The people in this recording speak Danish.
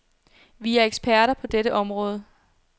Vi er eksperter på dette område.